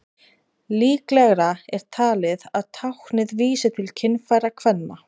líklegra er talið að táknið vísi til kynfæra kvenna